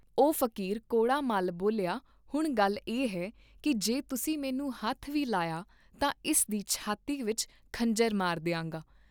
ਓਹ ਫਕੀਰ ਕੌੜਾ ਮੱਲ ਬੋਲਿਆ ਹੁਣ ਗੱਲ ਇਹ ਹੈ ਕਿ ਜੇ ਤੁਸੀਂ ਮੈਨੂੰ ਹੱਥ ਵੀ ਲਾਇਆ ਤਾਂ ਇਸ ਦੀ ਛਾਤੀ ਵਿਚ ਖੰਜਰ ਮਾਰ ਦਿਆਂਗਾ